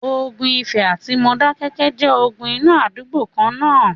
ogun ifẹ̀ àti Modákéké jẹ́ ogun inú àdúgbò kan-ná-an.